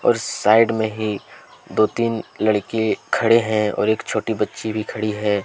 और साइड में ही दो तीन लड़के खड़े हैं और एक छोटी बच्ची भी खड़ी है।